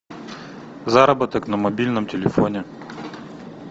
заработок на мобильном телефоне